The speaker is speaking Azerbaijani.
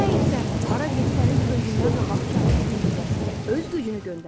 Nə etsəniz, hara getsəniz özündən qabaq kainatın qüvvəsini, öz gücünü göndərin.